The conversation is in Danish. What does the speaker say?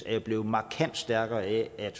er blevet markant stærkere af at